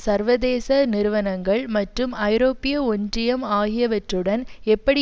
சர்வதேச நிறுவனங்கள் மட்டும் ஐரோப்பிய ஒன்றியம் ஆகியவற்றுடன் எப்படி